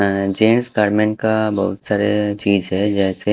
अअ जेंस करमन का बहुत सारे चीज है जैसे --